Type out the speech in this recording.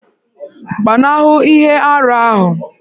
Gbanahụ ihe arụ ahụ!